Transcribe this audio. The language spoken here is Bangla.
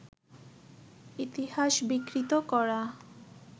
ইতিহাস বিকৃত করা